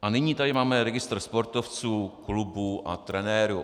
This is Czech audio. A nyní tady máme registr sportovců, klubů a trenérů.